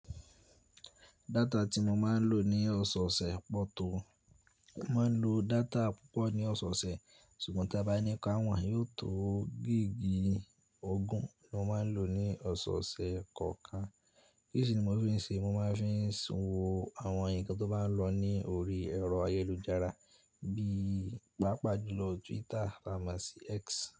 Data tí mo máa ń lò ní ọ̀sẹ̀ ọ̀sẹ̀ pọ̀ tó. Mo máa ń lò data púpọ̀ ní ọ̀sẹ̀ọ̀sẹ̀, ṣùgbọ́n tí a bá ní ká wọ̀n, yóò tó gigi ogún mo máa ń lò ní ọ̀sẹ̀ọ̀sẹ̀ kọ̀ọ̀kan. Kí sì ni mo fi ń ṣe? Mo máa fi ń sanwó àwọn nǹkan tó bá ń lọ ní orí ẹ̀rọ ayélujára bí i pàápàá jùlọ Twitter, támọ sì X.